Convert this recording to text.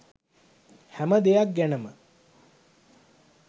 හැම දෙයක් ගැනම.